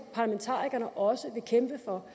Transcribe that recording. parlamentarikerne også vil kæmpe for